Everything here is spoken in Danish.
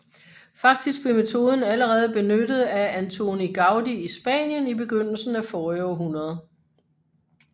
Faktisk blev metoden allerede benyttet af Antoni Gaudí i Spanien i begyndelsen af forrige århundrede